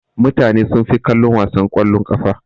Mutane sunfi kallon wasan kwallon ƙafa.